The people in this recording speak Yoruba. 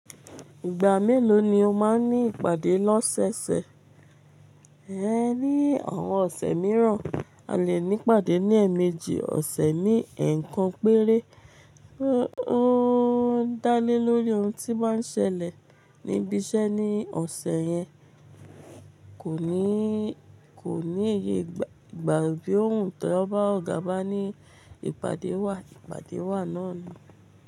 Ìgbà mélòó ni o máa ń ní ìpàdé lọ́sẹ̀sẹ̀? Ẹ ní àwọn ọ̀sẹ̀ mìíràn, a lè ní ìpàdé ní ẹ̀mejì ọ̀sẹ̀ ní ẹ̀ẹ̀kan péré. Ó ń dále lórí oun tí báa ń ṣẹlẹ̀ níbi iṣẹ́ ní ọ̀sẹ̀ yẹn. Kò ní, kò ní iye ìgbà, bí òun tọ ọ̀gá bá ní ìpàdé wà, ìpàdé wà náà ni.